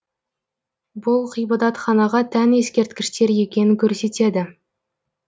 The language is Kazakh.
бұл ғибадатханаға тән ескерткіштер екенін көрсетеді